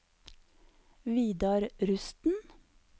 Vidar Rusten